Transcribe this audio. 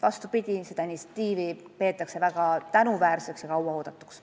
Vastupidi, seda initsiatiivi peetakse väga tänuväärseks ja kauaoodatuks.